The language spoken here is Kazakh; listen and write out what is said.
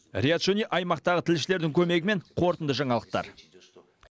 риат шони аймақтағы тілшілердің көмегімен қорытынды жаңалықтар